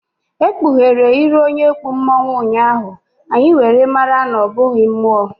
E kpughere iru onye kpụ mmonwu ụnyaahụ, anyị were mara na ọ bụghị mmuo